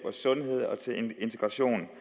til at det